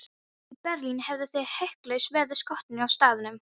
Í Berlín hefðuð þið hiklaust verið skotnir á staðnum.